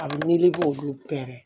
A bɛ meleke olu pɛrɛn